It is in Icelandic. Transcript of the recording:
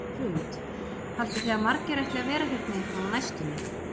Hrund: Haldið þið að margir ætli að vera hérna eitthvað á næstunni?